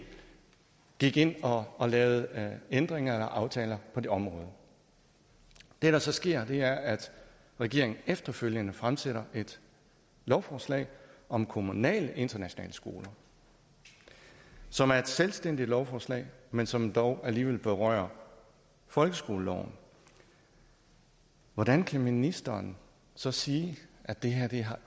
gik ind og og lavede ændringer eller aftaler på det område det der så sker er at regeringen efterfølgende fremsætter et lovforslag om kommunale internationale skoler som er et selvstændigt lovforslag men som dog alligevel berører folkeskoleloven hvordan kan ministeren så sige at det her